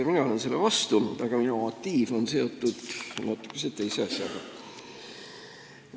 Ka mina olen selle vastu, aga minu motiiv on seotud natukese teise asjaga.